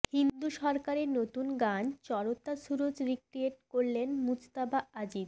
ইন্দু সরকারের নতুন গান চড়তা সুরজ রিক্রিয়েট করলেন মুজতাবা আজিজ